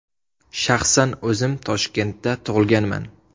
Shaxsan o‘zim Toshkentda tug‘ilganman!